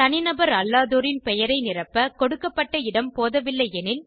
தனிநபர் அல்லாதோரின் பெயரை நிரப்ப கொடுக்கப்பட்ட இடம் போதவில்லை எனில்